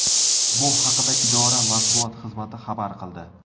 Bu haqida idora matbuot xizmati xabar qildi .